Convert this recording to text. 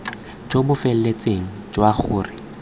jo bo feletseng jwa gore